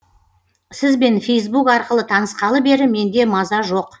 сізбен фейсбук арқылы танысқалы бері менде маза жоқ